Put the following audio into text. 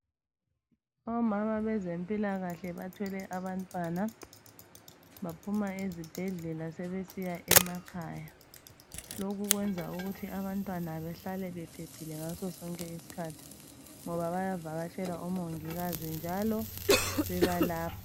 Omama bezempilakahle bathwele abantwana baphuma ezibhedlela sebesiya emakhaya lokhu kwenza ukuthi abantwana behlale bephephile ngaso sonke isikhathi ngoba bayavakatshela oMongikazi njalo bebalapha.